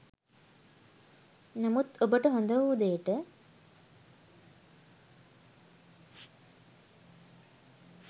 නමුත් ඔබට හොඳවූ දේට